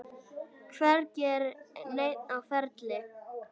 Hvergi er neinn á ferli.